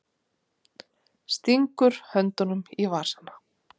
Stingur höndunum í vasana.